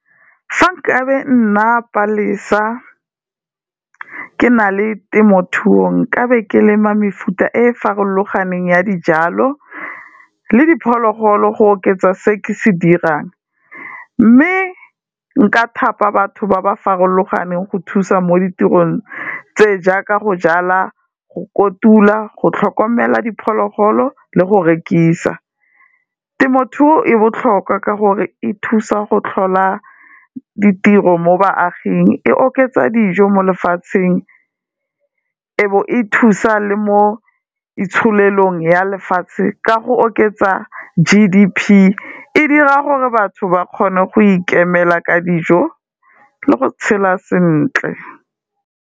Fa nkabe nna Palesa, ke na le temothuong nkabe ke lema mefuta e farologaneng ya dijalo le diphologolo go oketsa se ke se dirang, mme nka thapa batho ba ba farologaneng go thusa mo ditirong tse jaaka go jala, go kotula, go tlhokomela diphologolo le go rekisa. Temothuo e botlhokwa ka gore e thusa go tlhola ditiro mo baaging, e oketsa dijo mo lefatsheng e bo e thusa le mo itsholelong ya lefatshe, ka go oketsa G_D_P, e dira gore batho ba kgone go ikemela ka dijo le go tshela sentle.